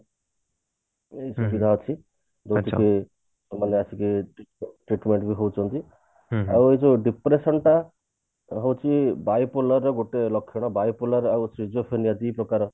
ସୁବିଧା ଅଛି ସେମାନେ ଆସିକି treatment ବି ହଉଛନ୍ତି ଆଉ ଏ ଯୋଉ depression ଟା ହଉଛି bipolar ର ଗୋଟେ ଲକ୍ଷଣ bipolar ଆଉ physiotherapy ଦରକାର